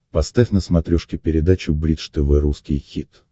поставь на смотрешке передачу бридж тв русский хит